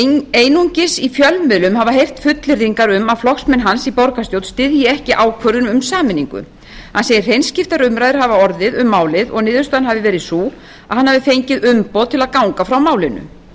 einungis í fjölmiðlum hafa heyrt fullyrðingar um að flokksmenn hans í borgarstjórn styðji ekki ákvörðun um sameiningu hann segir hreinskiptar umræður hafa orðið um málið og niðurstaðan hafi verið sú að hann hafi fengið umboð til að ganga frá málinu